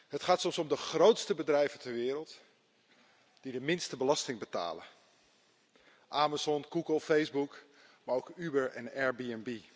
Het gaat soms om de grootste bedrijven ter wereld die de minste belasting betalen Amazon, Google, Facebook, maar ook Uber en Airbnb.